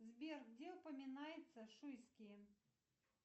сбер где упоминается шуйские